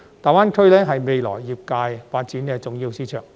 大灣區是未來業界發展的重要市場。